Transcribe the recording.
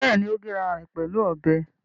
Bẹ́ẹ̀ni, ó gé ara ẹ̀ pẹ̀lú ọbẹ̀